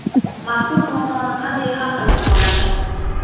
Mazkur muammoni qanday hal qilsa bo‘ladi?